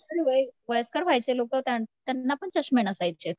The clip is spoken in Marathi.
पण हे वयस्कर वयाचे लोकं त्यांना पण चष्मे नसायचेत.